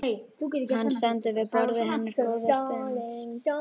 Hann stendur við borðið hennar góða stund.